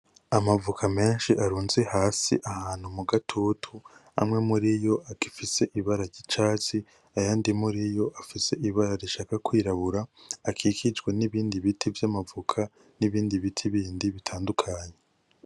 Amavoka meshi arunze hasi ahantu mugatutu ,amwe muriyo agifise ibara ry'icatsi ayandi muriyo afise ibara rishaka kwirabura akikijwe nibindi biti vyamavoka nibindi biti bindi bitandukanye